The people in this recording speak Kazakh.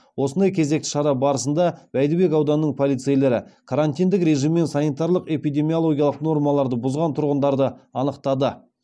осындай кезекті шара барысында бәйдібек ауданының полицейлері карантиндік режим мен санитарлық эпидемиологиялық нормаларды бұзған тұрғындарды анықтады